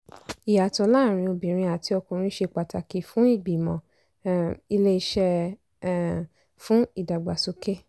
ìyàtọ̀ láàárín obìnrin àti ọkùnrin ṣe pàtàkì fún ìgbìmọ̀ um iléeṣẹ́ um fún ìdàgbàsókè.